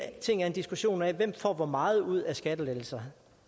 ting er en diskussion af hvem der får hvor meget ud af skattelettelser